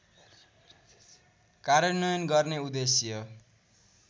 कार्यान्वयन गर्ने उद्देश्य